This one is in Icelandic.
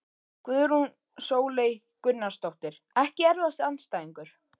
Guðrún Sóley Gunnarsdóttir Ekki erfiðasti andstæðingur?